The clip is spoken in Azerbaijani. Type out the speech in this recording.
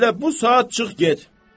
Elə bu saat çıx get.